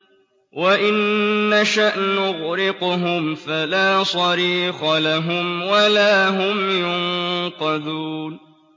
وَإِن نَّشَأْ نُغْرِقْهُمْ فَلَا صَرِيخَ لَهُمْ وَلَا هُمْ يُنقَذُونَ